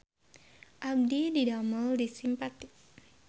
Abdi didamel di Simpati